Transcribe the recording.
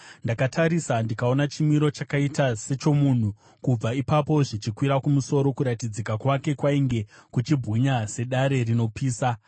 Ndakatarisa, ndikaona chimiro chakaita sechomunhu. Kubva ipapo zvichikwira kumusoro, kuratidzika kwake kwainge kuchibwinya sedare rinopisa.